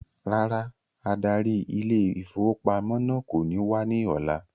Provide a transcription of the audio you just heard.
Rárá adarí ile-ìfowópamó náà kò ní wá ní ọ̀la